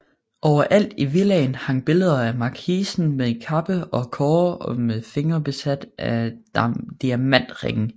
Overalt i villaen hang billeder af markisen med kappe og kårde og med fingrene besat med diamantringe